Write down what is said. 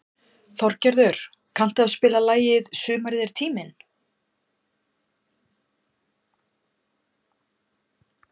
Þorgerður, kanntu að spila lagið „Sumarið er tíminn“?